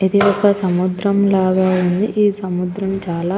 ఇది ఒక సముద్రం లాగా ఉంది. ఈ సముద్రం చాల --